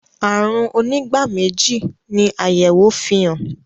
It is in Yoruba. àrùn onígbáméjì ni ayẹwo fihàn.